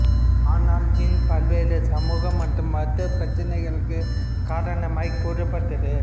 ஆனால் ஜின் பல்வேறு சமூக மற்றும் மருத்துவப் பிரச்சினைகளுக்குக் காரணமாய்க் கூறப்பட்டது